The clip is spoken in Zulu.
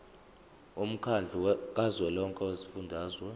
womkhandlu kazwelonke wezifundazwe